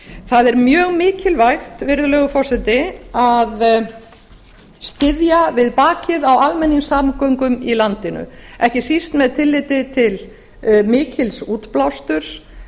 það er mjög mikilvægt virðulegur forseti að styðja við bakið á almenningssamgöngum i landinu ekki síst með tilliti til mikils útblásturs